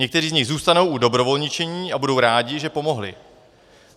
Někteří z nich zůstanou u dobrovolničení a budou rádi, že pomohli.